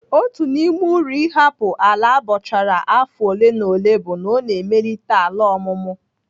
Otu n'ime uru ịhapụ ala abọchara afọ ole na ole bụ na ọ na-emelite ala ọmụmụ.